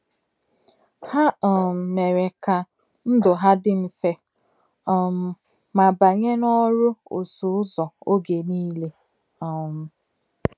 Ha um mere ka ndụ ha dị mfe um ma banye n'ọrụ ọsụ ụzọ oge nile um.